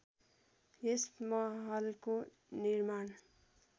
यस महलको निर्माण